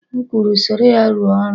M kwuru, soro ya rụọ ọrụ!